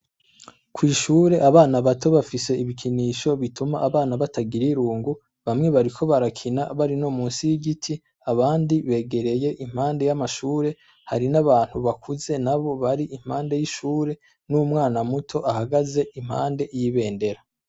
Kw'ishure, abana bato bafise ibikinisho bituma abana batagira irungu, bamwe bariko barakina bari no munsi y'igiti, abandi begereye impande y'amashure, hari n'abantu bakuze nabo bariko impande y'ishure n'umwana muto ahagaze impande y'ibendera.